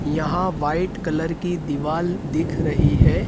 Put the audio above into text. यहां white colour की दीवाल दिख रही है।